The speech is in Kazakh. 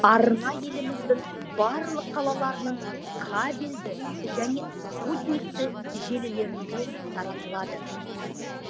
арна еліміздің барлық қалаларының кабельді және спутниктік желілерінде таратылады